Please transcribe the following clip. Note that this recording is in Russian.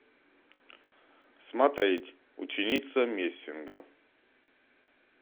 смотреть ученица мессинга